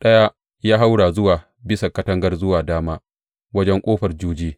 Ɗaya ya haura zuwa bisan katangar zuwa dama, wajen Ƙofar Juji.